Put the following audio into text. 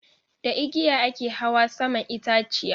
Da igiya a ke hawa saman itaciya.